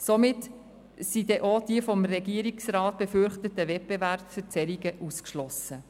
Somit sind dann auch die vom Regierungsrat befürchteten Wettbewerbsverzerrungen ausgeschlossen.